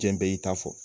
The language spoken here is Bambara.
Diɲɛ bɛɛ y'i ta fɔ